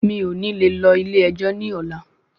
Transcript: Mí ò ní le lọ ilé ẹjọ́ ní ọlá